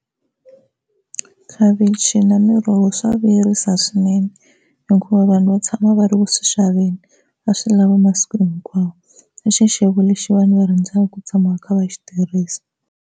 Khavichi na miroho swa vuyerisa swinene hikuva vanhu va tshama va ri ku swi xaveni va swi nlava masiku hinkwawo, i xixevo lexi vanhu va rhandzaka ku tshama va kha va xi tirhisa.